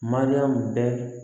Mariyamu bɛɛ